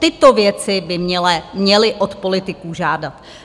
Tyto věci by měli od politiků žádat.